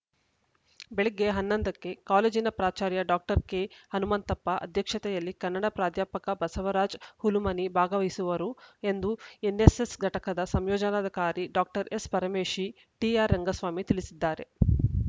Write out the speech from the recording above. ಬೆಳಗ್ಗೆ ಹನ್ನೊಂದ ಕ್ಕೆ ಕಾಲೇಜಿನ ಪ್ರಾಚಾರ್ಯ ಡಾಕ್ಟರ್ ಕೆಹನುಮಂತಪ್ಪ ಅಧ್ಯಕ್ಷತೆಯಲ್ಲಿ ಕನ್ನಡ ಪ್ರಾಧ್ಯಾಪಕ ಬಸವರಾಜ ಹುಲುಮನಿ ಭಾಗವಹಿಸುವರು ಎಂದು ಎನ್ನೆಸ್ಸೆಸ್‌ ಘಟಕದ ಸಂಯೋಜನಾಧಿಕಾರಿ ಡಾಕ್ಟರ್ ಎಸ್‌ಪರಮೇಶಿ ಟಿಆರ್‌ರಂಗಸ್ವಾಮಿ ತಿಳಿಸಿದ್ದಾರೆ